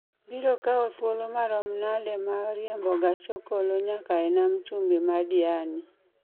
biro kawo thuolo maomo nade ma riembo gach okolonyaka e nam chumbi ma Diani